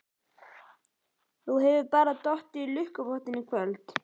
Þú hefur bara dottið í lukkupottinn í kvöld.